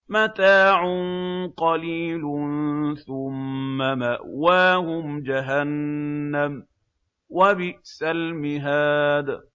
مَتَاعٌ قَلِيلٌ ثُمَّ مَأْوَاهُمْ جَهَنَّمُ ۚ وَبِئْسَ الْمِهَادُ